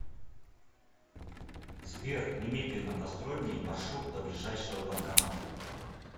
сбер немедленно построй мне маршрут до ближайшего банкомата